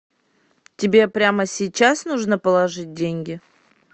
тебе прямо сейчас нужно положить деньги